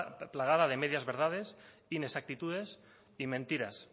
plagada de medias verdades inexactitudes y mentiras